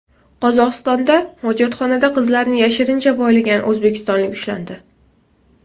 Qozog‘istonda hojatxonada qizlarni yashirincha poylagan o‘zbekistonlik ushlandi.